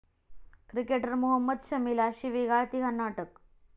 cricketer Mohammed शमीला शिवीगाळ, तिघांना अटक